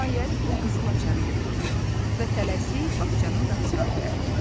Nəhayət o qızıl açarı götürdü və tələsik bağçanın qapısına tərəf getdi.